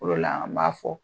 o de la an b'a fɔ